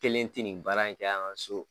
Kelen tɛ nin baara in kɛ an ka so.